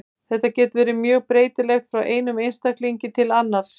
Þetta getur verið mjög breytilegt frá einum einstaklingi til annars.